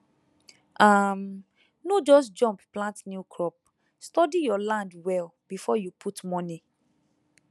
um no just jump plant new crop study your land well before you put money